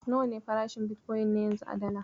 Nawa ne farashin bitkoyin na yanzu a Dala?